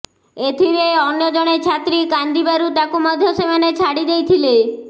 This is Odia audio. ଏଥିରେ ଅନ୍ୟ ଜଣେ ଛାତ୍ରୀ କାନ୍ଦି ବାରୁ ତାକୁ ମଧ୍ୟ ସେମାନେ ଛାଡି ଦେଇ ଥିଲେ